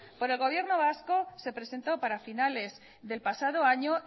por el gobierno vasco se presentó para finales del pasado año